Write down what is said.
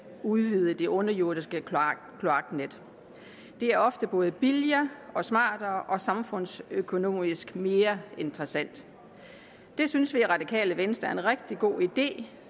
udvide det underjordiske kloaknet det er ofte både billigere smartere og samfundsøkonomisk mere interessant det synes vi i radikale venstre er en rigtig god idé